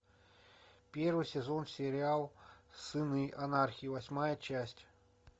первый сезон сериал сыны анархии восьмая часть